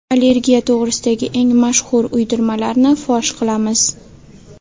Allergiya to‘g‘risidagi eng mashhur uydirmalarni fosh qilamiz.